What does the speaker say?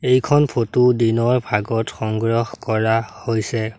এইখন ফটো দিনৰ ভাগত সংগ্ৰহ কৰা হৈছে।